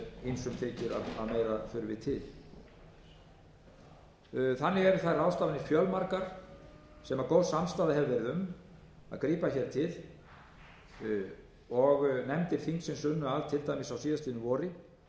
ýmsum þykir að meira þurfi til þannig eru þær ráðstafanir fjölmargar sem góð samstaða hefur verið um að grípa hér til og nefndir þingsins unnu að til dæmis í fyrravor